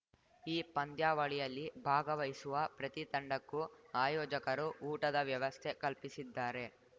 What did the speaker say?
ಈ ಪಂದ್ಯಾವಳಿಯಲ್ಲಿ ಭಾಗವಹಿಸುವ ಪ್ರತಿ ತಂಡಕ್ಕೂ ಆಯೋಜಕರು ಊಟದ ವ್ಯವಸ್ಥೆ ಕಲ್ಪಿಸಿದ್ದಾರೆ